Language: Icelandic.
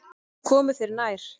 Svo komu þeir nær.